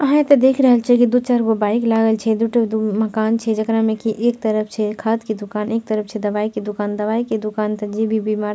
आहां एता देख रहल छीये की दू-चार गो बाइक लागल छै दू टा दू मकान छै जकड़ा में की एक तरफ छै खाद के दुकान एक तरफ छै दवाई के दुकान दवाई के दुकान ते जे भी बीमार --